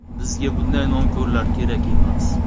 Bizga bunday nonko‘rlar kerak emas.